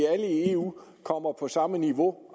at alle i eu kommer på samme niveau